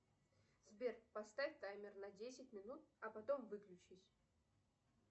сбер поставь таймер на десять минут а потом выключись